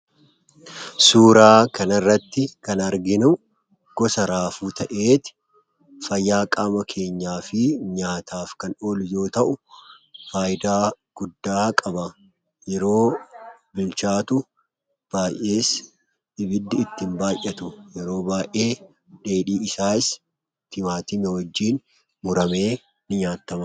Suuraa kana irratti kan arginu gosa raafuu ta'ee, fayyaa qaama keenyaafi nyaataaf kan oolu yoo ta'u, faayidaa guddaa qaba. Yeroo bilchaatu baay'ee ibiddi itti hin baay'atu. Yeroo baay'ee dheedhii isaas timaatimii wajjin muramee ninyaatama.